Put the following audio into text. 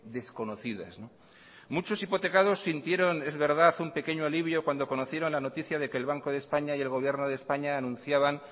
desconocidas muchos hipotecados sintieron es verdad un pequeño alivio cuando conocieron la noticia de que el banco de españa y el gobierno de españa anunciaban